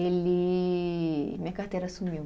Ele, minha carteira sumiu.